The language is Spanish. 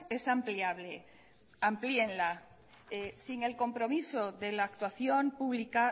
es ampliable amplíenla sin el compromiso de la actuación pública